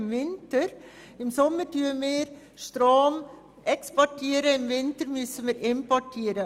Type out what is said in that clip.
Im Sommer exportieren wir Strom, im Winter müssen wir ihn importieren.